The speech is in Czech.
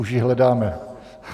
Už ji hledáme!